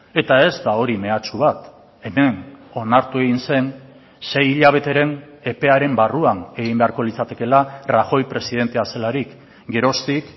eta ez da hori mehatxu bat hemen onartu egin zen sei hilabeteren epearen barruan egin beharko litzatekeela rajoy presidentea zelarik geroztik